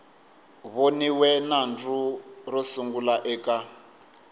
voniwe nandzu ro sungula eka